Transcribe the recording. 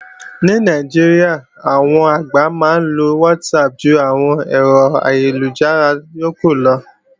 Ní Nàìjíríà, àwọn àgbà máa ń lo WhatsApp ju àwọn ẹ̀rọ ayélujára yókù lọ